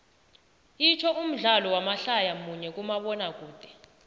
itsho umdlalo wamadlaya munye kumabonakude